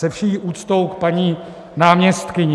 Se vší úctou k paní náměstkyni.